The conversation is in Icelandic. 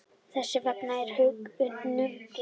Þess vegna er ég hnugginn.